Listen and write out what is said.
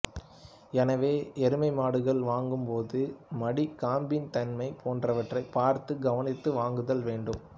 எனவே எருமை மாடுகள் வாங்கும் போது மடி காம்பின் தன்மை போன்றவற்றைப் பார்த்து கவனித்து வாங்குதல் வேண்டும்